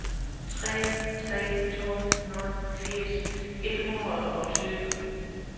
tre tre to nul firs et hundrede og tyve